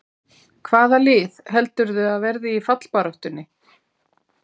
Hvaða lið heldurðu að verði í fallbaráttunni?